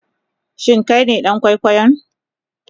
Shin Kai ne dan kwaikwayon?